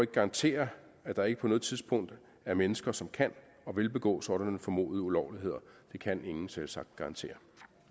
garantere at der ikke på noget tidspunkt er mennesker som kan og vil begå sådanne formodede ulovligheder det kan ingen selvsagt garantere